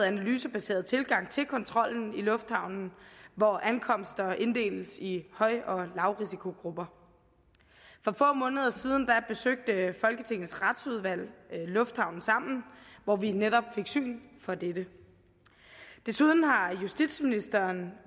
analysebaseret tilgang til kontrollen i lufthavnen hvor ankomster inddeles i høj og lavrisikogrupper for få måneder siden besøgte folketingets retsudvalg lufthavnen sammen hvor vi netop fik syn for dette desuden har justitsministeren